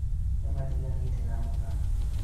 nĩmatiganĩte na mũka